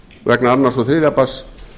vegna annars og þriðja barns